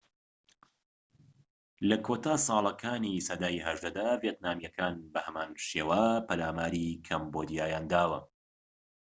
لە کۆتا ساڵەکانی سەدەی ١٨ دا، ڤێتنامیەکان بەهەمان شێوە پەلاماری کەمبۆدیایان داوە